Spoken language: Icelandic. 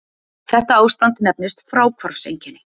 Þetta ástand kallast fráhvarfseinkenni.